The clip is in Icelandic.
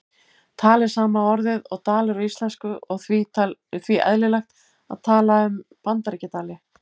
Tal er sama orðið og dalur á íslensku og því eðlilegt að tala um Bandaríkjadali.